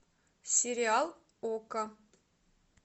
сериал окко